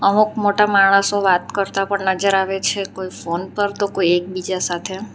અમુક મોટા માણસો વાત કરતા પણ નજર આવે છે કોઈ ફોન પર તો કોઈ એકબીજા સાથે.